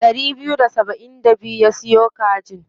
Ɗari biyu da saba'in da biyu ya siyo kajin.